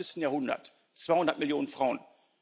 21. Jahrhundert, 200 Millionen Frauen.